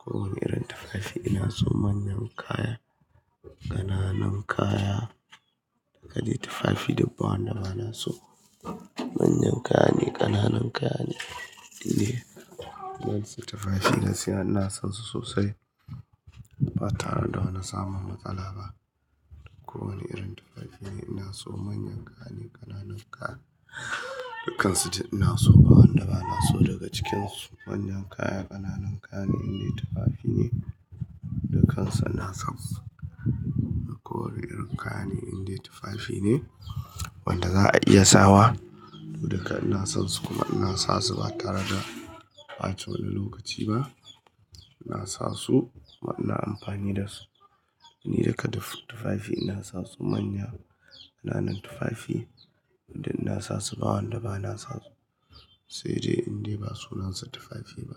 Kowane irin tufafi inaso manyan kaya, ƙananan kaya. Gadai tufafi duk ba wanda bana so. Manyan kayane, ƙananan kayane, indiya. Waɗansu tufafi gaskiya ina sansu sosai, ba tareda wani samun matsala ba. Ko wani irin tufafi ne ina so manyan kayane, ƙananan kaya. Dukansu duk inaso ba wanda ba naso daga cikinsu. Manyan kaya, ƙananan kaya ne indai tufafine. Dukansu ina sonsu. Ko wane irin kayane indai tufafi ne, wanda za'a iya sawa. Duka ina sonsu kuma ina sasu ba tareda ɓace wani lokaci ba. Ina sasu kuma ina amfani dasu. Ni duka duk tufafi ina sasu manya, ƙananan tufafi. Eh duk ina sasu ba wanda bana sa su. Sai dai indai ba sunansu tufafi ba.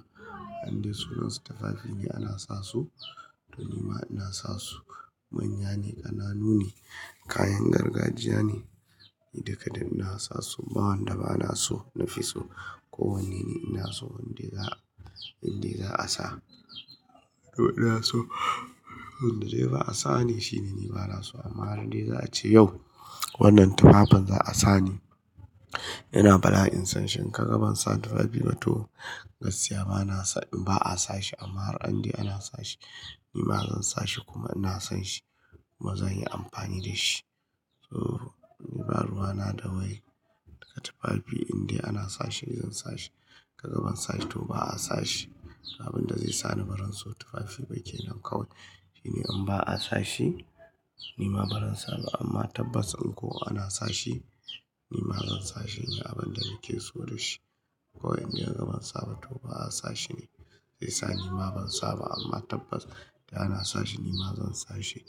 Indiya sunansa tufafi ne ana sa su. To nima ina sasu manya ne, ƙananu ne, kayan gargajiya ne. Ni duka duk ina sasu ba wanda ba naso nafi so. Ko wanne ne inaso indaiga, indai za'a sa. To inaso wanda zai ba'a sane shine ni banaso. Amma har de za'a ce yau wannan tufafin za'a sane. Ina faɗa in san shin kaga bansa tufafiba to gaskiya ba'a sashi. Amma har indai ana sashi nima zan sashi kuma ina son shi kuma zanyi amfani dashi. To niba ruwana da wai. Duka tufafi indai ana sashi ni zansa shi. Ka gaba ban sashi to ba'a sashi. Abinda zaisani barinso tufafi bake nan kawai. Shine in ba'a sashi nima barin saba. Amma tabbas in ko ana sa shi ni ma zan sa shi. Ni abunda nakeso dashi. Ko indai kaga ban saba to ba'a sa shine. Saisa nima ban saba amma tabbas idan ana sashi nima zansa shi.